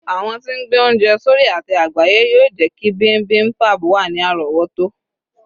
àwọn tí n gbẹ ounjẹ sórí ate àgbáyé yíò jé kí bimbimbap wa ni àrówòtó